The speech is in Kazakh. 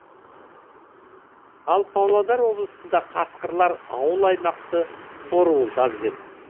ал павлодар облысында қасқырлар ауыл аймақты торуылдап жүр